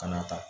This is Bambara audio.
Ka n'a ta